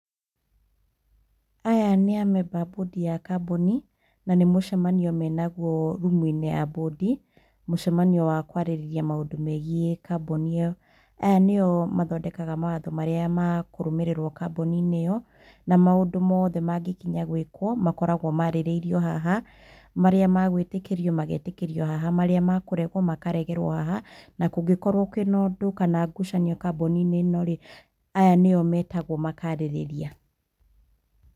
Aya nĩamemba a mbũndi ya kambũni na nĩmũcemanio menaguo rumuinĩ ya mbundĩ. Mũcemanio wa kũarĩrĩria maũndũ megie kambũni ĩyo. Aya nĩo mathondekaga mawatho marĩa makũrũmĩrĩrwo kambũniinĩ ĩyo na maũndũ mothe mangĩkinya gwikwo makoragwo marĩrĩirio haha marĩa magũĩtĩkĩrio magetĩkĩrio haha marĩa mekũregwo makaregerwo haha na kũngĩkorwo kwĩ nondũ kana ngucanio kambũnĩ ino rĩ, aya nĩo metagwo makarĩrĩria.